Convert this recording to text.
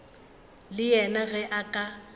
le yena ge a ka